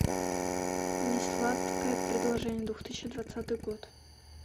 несладкое предложение две тысячи двадцатый год